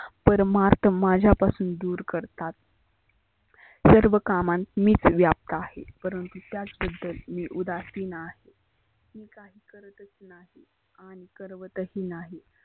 परमार्थ माझापासून दुर करतात. सर्व कामात मीच व्याप्त आहे. परंतु त्याच बद्दल उदासीन आहे. मी काही करतच नाही आणि करवत ही नाही.